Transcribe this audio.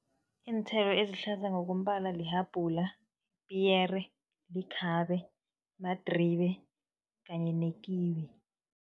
Iinthelo ezihlaza ngokombala, lihabhula, ipiyere, likhabe, madribe kanye nekiwi.